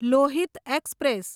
Lohit express